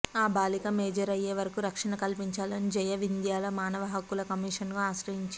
ఆ బాలిక మేజర్ అయ్యే వరకు రక్షణ కల్పించాలని జయ వింధ్యాల మానవ హక్కుల కమీషన్ ను ఆశ్రయించింది